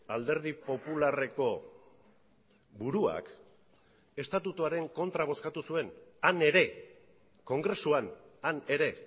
alderdi popularreko buruak estatutuaren kontra bozkatu zuen han ere kongresuan han ere